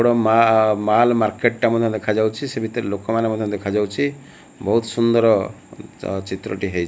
ଗୋଟେ ମା mall market ଟା ମଧ୍ୟ ଦେଖାଯାଉଛି ସେ ଭିତରେ ଲୋକମାନେ ମଧ୍ଯ ଦେଖାଯାଉଚି ବହୁତ ସୁନ୍ଦର ଟିଏ ହେଇ --